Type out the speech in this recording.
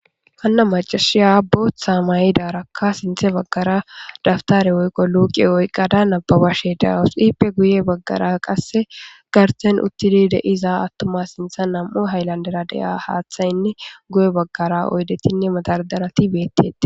Hana macashshiya boththa mayidarakka sinththe bagara dabitare woyikko luke oyikkada nababashshe de'awus.ippe guye bagara qase garssenni uttidi de'iza atuma sinththanni diza nam''u hiyilandera de'iya haththayinne guye bagara oyidettinne madardaratti betetees .